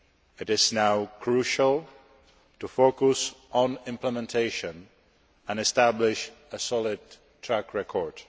It is now crucial to focus on implementation and establish a solid track record.